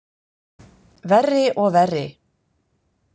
Verri og verri.